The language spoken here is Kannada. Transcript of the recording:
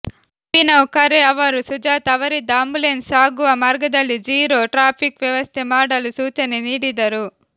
ಅಭಿನವ್ ಖರೇ ಅವರು ಸುಜಾತಾ ಅವರಿದ್ದ ಆಂಬ್ಯುಲೆನ್ಸ್ ಸಾಗುವ ಮಾರ್ಗದಲ್ಲಿ ಝಿರೋ ಟ್ರಾಫಿಕ್ ವ್ಯವಸ್ಥೆ ಮಾಡಲು ಸೂಚನೆ ನೀಡಿದರು